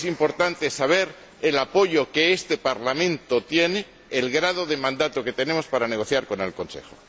Es importante saber el apoyo que este Parlamento tiene, el grado de mandato que tenemos para negociar con el Consejo.